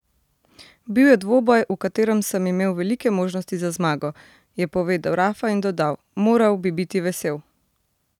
Bil je dvoboj, v katerem sem imel velike možnosti za zmago," je povedal Rafa in dodal: "Moral bi biti vesel.